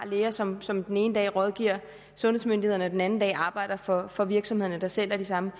læger som som den ene dag rådgiver sundhedsmyndighederne og den anden dag arbejder for for virksomhederne der sælger de samme